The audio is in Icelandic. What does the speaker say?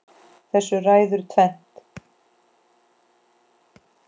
Þessu ræður tvennt